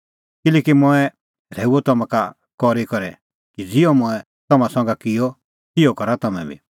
किल्हैकि मंऐं रहैऊअ तम्हां का करी करै कि ज़िहअ मंऐं तम्हां संघै किअ तिहअ करा तम्हैं बी